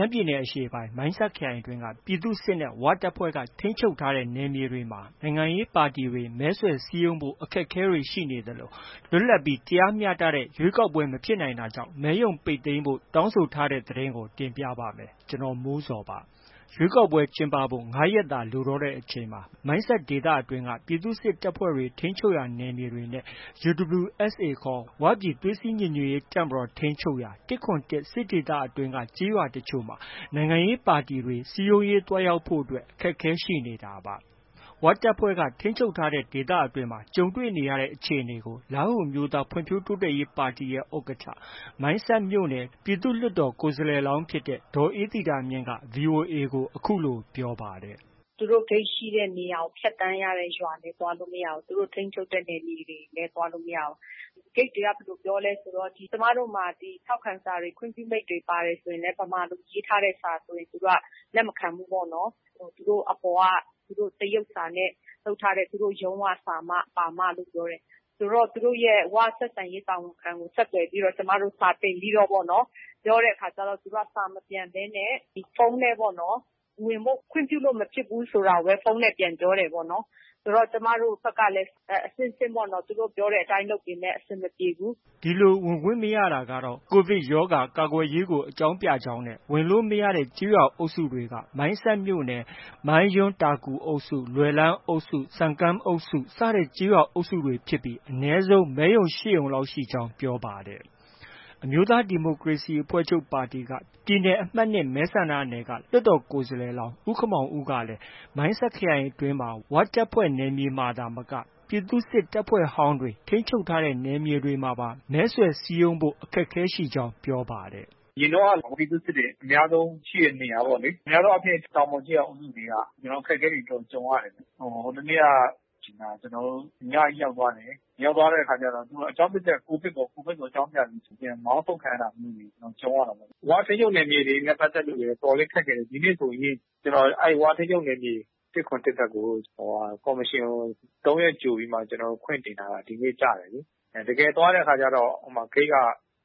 မ်းပြည်နယ်အရှေ့ပိုင်း မိုင်းဆတ်ခရိုင်အတွင်းက ပြည်သူ့စစ်နဲ့ ၀ တပ်ဖွဲ့က ထိန်းချုပ်ထားတဲ့ နယ်မြေတွေမှာ နိုင်ငံရေးပါတီတွေ မဲဆွယ်စည်းရုံးဖို့ အခက်အခဲတွေရှိနေသလို လွတ်လပ်ပြီး တရားမျှတတဲ့ ရွေးကောက်ပွဲ မဖြစ်နိုင်တာကြောင့် မဲရုံပိတ်သိမ်းဖို့ တောင်းဆိုထားတဲ့သတင်းကို တင်ပြပါမယ်။ ဗွီအိုအေမြန်မာပိုင်း သတင်းထောက် ကိုမိုးဇော်က သတင်းပေးပို့ထားပါတယ်။ ရွေးကောက်ပွဲကျင်းပဖို့ ၅ရက်သာလိုတော့တဲ့အချိန်မှာ မိုင်းဆတ်ဒေသအတွင်းက ပြည်သူ့စစ်တပ်ဖွဲ့တွေ ထိန်းချုပ်ရာနယ်မြေတွေနဲ့ UWSA ဝပြည်သွေးစည်း ညီညွတ်ရေးတပ်မတော် ထိန်းချုပ်ရာ ၁၇၁ စစ်ဒေသ အတွင်းက ကျေးရွာတချို့မှာ နိုင်ငံရေးပါတီတွေ စည်းရုံးရေး သွားရောက်ဖို့အတွက် အခက်အခဲရှိနေတာပါ။ ဝတပ်ဖွဲ့တွေ ထိန်းချုပ်ရာ ဒေသအတွင်းမှာ ကြုံတွေရတဲ့အခြေအနေကို လားဟူအမျိုးသားဖွံ့ဖြိုးတိုးတက်ရေး ပါတီရဲ့ ဥက္ကဌ မိုင်းဆတ်မြို့နယ် ပြည်သူ့လွှတ်တော်ကိုယ်စားလှယ်လောင်းဖြစ်တဲ့ ဒေါ်အေးသီတာမြင့်က VOA ကို အခုလို ပြောပါတယ်။ “ သူတို့ ဂိတ်ရှိတဲ့နေရာ ဖြတ်သန်းရတဲ့ ရွာတွေ သွားလို့ မရဘူး။ သူတို့ ထိန်းချုပ်တဲ့ နယ်မြေတွေလည်း သွားလို့ မရဘူး။ ဂိတ်တွေက ဘယ်လို ပြောလဲဆို ကျမတို့မှာ ထောက်ခံစာ ခွင့်ပြုမိန့်တွေပါတယ်ဆိုရင်လည်း ဗမာလို ရေးထားတဲ့စာဆိုရင် သူတို့က လက်မခံဘူးပေါ့နော်။ သူတို့ အပေါ်က တရုတ်စာနဲ့ လုပ်ထားတဲ့၊ သူတို့ ရုံးက စာပါမှလို့ ပြောတယ်။ ဆိုတော့ သူတို့ ၀ ဆက်ဆံရေးတာဝန်ခံကို ဆက်သွယ်ပြီးတော့ ကျမတို့ စာတင်ပြီးတော့ ပြောတဲ့အခါကျတော့ သူတို့က စာမပြန်ဘဲနဲ့ ဖုန်းနဲ့ ဝင်ဖို့ ခွင့်ပြုလို့ မဖြစ်ဘူးဆိုတာကိုပဲ ဖုန်းနဲ့ ပြန်ပြော တယ်ပေါ့နော်။ ကျမတို့ဘက်ကလည်း အဆင့်ဆင့်ပေါ့နော် သူတို့ ပြောတဲ့အတိုင်းလုပ်ပေမဲ့ အဆင်မပြေဘူး။” ဒီလို ဝင်ခွင့်မရတာကတော့ COVID ရောဂါကာကွယ်ရေး အကြောင်းပြကြောင်းနဲ့ ဝင်လို့ မရတဲ့ ကျေးရွာအုပ်တွေက မိုင်းဆတ်မြို့နယ် မိုင်းယွန်း၊တာကူအုပ်စု၊ လွယ်လန်းအုပ်စု၊ ဆမ်ကန်းအုပ်စု စတဲ့ကျေးရွာအုပ်စုတွေဖြစ်ပြီး အနည်းဆုံး မဲရုံ ၈ရုံလောက်ရှိကြောင်း ပြောပါတယ်။ အမျိုးသားဒီမိုကရေစီအဖွဲ့ချုပ် ပါတီက ပြည်နယ်အမှတ် ၂ မဲဆန္ဒနယ်က လွှတ်တော်ကိုယ်စားလှယ်လောင်း ဦးခင်မောင်ဦးကလည်း မိုင်းဆတ်ခရိုင်အတွင်းမှာ ၀ တပ်ဖွဲ့နယ်မြေသာမက ပြည်သူ့စစ်တပ်ဖွဲ့ဟောင်းတွေ ထိန်းချုပ်တဲ့နယ်မြေတွေမှာပါ မဲဆွယ်စည်းရုံးဖို့ အခက်အခဲရှိကြောင်း ပြောပါတယ်။ “ အရင်တုန်းက ပြည်သူ့စစ်တွေအများဆုံး ရှိတဲ့နေရာပေါ့လေ။ အများအားဖြင့် တောင်ပေါ်ကျေးရွာအုပ်စုတွေက အခက်အခဲတွေအများဆုံးကြုံရတယ်။ ဟိုတစ်နေ့က ကျနော်တို့ ညကြီးရောက်သွားတယ်။ ရောက်သွားတဲ့အခါကျတော့ အကြောင်းပြချက်က COVID ပေါ့။ COVID ကို အကြောင်းပြပြီး မောင်းထုတ်ခံရတာမျိုးတွေကြုံရတာပေါ့။ ၀ ထိန်းချုပ်နယ်မြေတွေနဲ့ ပတ်သက်ရင်လည်း အတော်လေးကြုံရတယ်။ ဒီနေ့ဆိုရင် ၀ ထိန်းချုပ်နယ်မြေ ၁၇၁ ဘက်ကို ကော်မရှင်ကို ၃ရက်ကြိုပြီး ခွင့်တင်ထားတာ။ ဒီနေ့ ကျတယ်လေ။ တကယ်သွားတဲ့အခါကျတော့ ဂိတ်က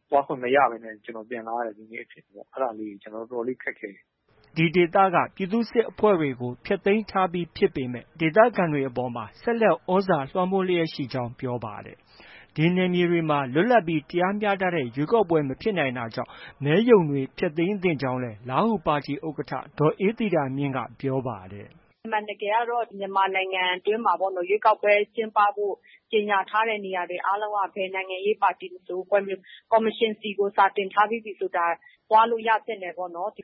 သွားခွင့်မရဘူး။ ကျနော် ပြန်လာရတယ်။ အဲဒါလေးတွေ အတော်လေး ခက်ခဲတယ်။” ဒီဒေသက ပြည်သူ့စစ်အဖွဲ့တွေဟာ ဖျက်သိမ်းထားပြီးဖြစ်ပေမဲ့ ဒေသခံတွေအပေါ်မှာ ဆက်လက် သြဇာ လွှမ်းမိုးလျှက်ရှိနေကြောင်း ပြောပါတယ်။ ဒီနယ်မြေတွေမှာ လွတ်လပ်ပြီး တရားမျှတတဲ့ ရွေးကောက်ပွဲမဖြစ်နိုင်တာကြောင့် မဲရုံတွေ ဖျက်သိမ်းသင့်ကြောင်းလည်း လားဟူပါတီဥက္ကဌ ဒေါ်အေးသီတာမြင့်က ပြောပါတယ်။ “ အမှန်တကယ်ကတော့ မြန်မာနိုင်ငံအတွင်းမှာ ရွေးကောက်ပွဲ ကျင်းပဖို့ ကြေညာထားတဲ့နေရာတွေအားလုံးက ဘယ်နိုင်ငံရေးပါတီမဆို ကော်မရှင်ဆီ စာတင်ထားပြီးပြီဆို ဒါ သွားလို့ ရသင့်တယ်ပေါ့နော်။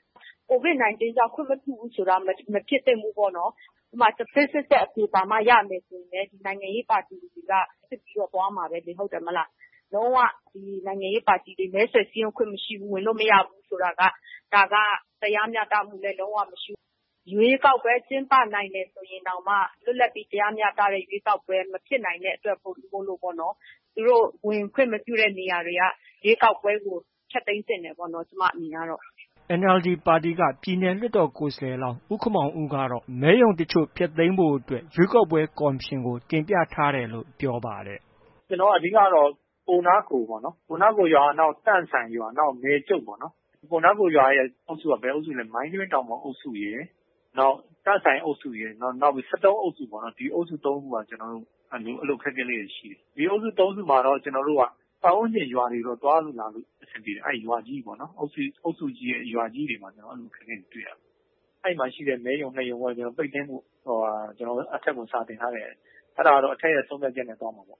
COVID-19 ကြောင့် ခွင့်မပြုဘူးဆိုတာ မဖြစ်သင့်ဘူး။ ဥပမာ ဆေးစစ်ချက်အဖြေပါမှ ရမယ်ဆိုရင်လည်း နိုင်ငံရေးပါတီတွေ က စစ်ပြီးတော့ သွားမှာပဲလေ ဟုတ်တယ်မဟုတ်လား။ လုံး၀ နိုင်ငံရေးပါတီတွေ လုံး၀ မဲဆွယ်စည်းရုံးခွင့် မရှိဘူး။ ဝင်လို့ မရဘူးဆိုတာက ဒါက တရားမျှတမှုလည်း လုံးဝမရှိဘူး။ ရွေးကောက်ပွဲ ကျင်းပနိုင်ရင်တောင်မှ လွတ်လပ်ပြီး တရားမျှတတဲ့ ရွေးကောက်ပွဲ မဖြစ်နိုင်တဲ့အတွက်ကြောင့်မို့ပေါ့နော်၊ ဝင်ခွင့်မပြုတဲ့နေရာတွေက ရွေးကောက်ပွဲကို ဖျက်သိမ်းသင့်တယ်ပေါ့နော် ကျမ အမြင်ကတော့။ ” NLD ပါတီက ပြည်နယ်လွှတ်တော်ကိုယ်စားလှယ်လောင်း ဦးခင်မောင်ဦးက မဲရုံတချို့ကို ဖျက်သိမ်းဖို့ ရွေးကောက်ပွဲကော်မရှင်ကို တင်ပြထားတယ်လို့ ပြောပါတယ်။ “ အဓိကကတော့ ပူနားကိုရွာ၊ တန့်ဆိုင်ရွာ၊ မယ်ကြုတ်ရွာရယ်။ ပူနားကိုရွာရဲ့ ကျေးရွာအုပ်စုက မိုင်းယွင်းတောင်ပေါ်အုပ်စုရယ်၊ နောက် တန့်ဆိုင်အုပ်စုရယ်။ နောက် ၁၃အုပ်စုပေါ့။ ဒီအုပ်စု ၃စုက အခက်အခဲလေးတွေ ရှိတယ်။ ဒီအုပ်စု ၃စုမှာတော့ ကျနော်တို့က ပတ်ဝန်းကျင်ရွာတွေကိုတော့ သွားလို့ လာလို့ အဆင်ပြေတယ်။ အဲဒီ အုပ်စုကြီးတဲ့ရွာကြီးတွေမှာ အခက်အခဲတွေတွေ့တယ်။ အဲဒီမှာရှိတဲ့ မဲရုံ ၂ရုံတော့ ပိတ်သိမ်းဖို့ ကျနော်တို့ အထက်ကို စာတင်ထားတယ်။ အဲဒါတော့ အထက်ရဲ့ ဆုံးဖြတ်ချက်နဲ့ သွားမှာ။”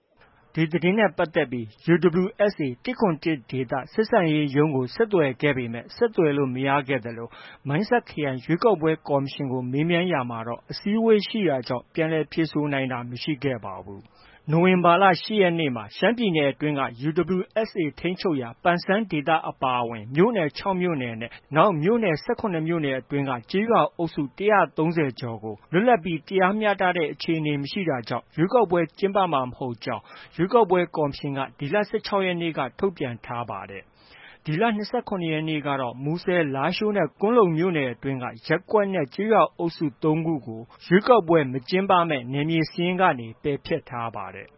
ဒီသတင်းနဲ့ပတ်သက်ပြီး UWSA ၁၇၁ ဆက်ဆံရေးရုံးကို ဆက်သွယ်ခဲ့ပေမဲ့ ဆက်သွယ်လို့ မရခဲ့သလို မိုင်းဆတ်ခရိုင်ရွေးကောက်ပွဲကော်မရှင်ကို မေးမြန်းရာမှာတော့ အစည်းအဝေးရှိတာကြောင့် ပြန်လည်ဖြေဆိုနိုင်တာမရှိခဲ့ပါဘူး။ နိုဝင်ဘာလ ၈ရက်နေ့မှာ ရှမ်းပြည်နယ်အတွင်းက UWSA ထိန်းချုပ်ရာ ဒေသတွေအပါအဝင် မြို့နယ် ၆မြို့နယ်နဲ့ နောက် မြို့နယ် ၁၇မြို့နယ်အတွင်း ကျေးရွာအုပ်စု ၁၃၀ ကျော်ကို လွတ်လပ်ပြီး တရားမျှတဲ့ အခြေအနေမရှိတာကြောင့် ရွေးကောက်ပွဲကျင်းပမှာ မဟုတ်ကြောင်း ရွေးကောက်ပွဲကော်မရှင်က ဒီလ ၁၆ ရက်နေ့က ထုတ်ပြန်ထားတာပါ။ ဒီလ ၂၇ရက်နေ့ကတော့ မူဆယ်၊ လားရှိုးနဲ့ ကွမ်းလုံမြို့နယ်အတွင်းက ရပ်ကွက်နဲ့ ကျေးရွာအုပ်စု ၃ခုကို ရွေးကောက်ပွဲမကျင်းပမယ့် နယ်မြေစာရင်းကနေ ပယ်ဖျက်ထားပါတယ်